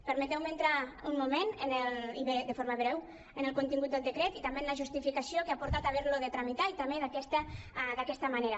permeteu·me entrar un moment i de forma breu en el contingut del decret i també en la justificació que ha portat a haver·lo de tramitar i també d’aquesta ma·nera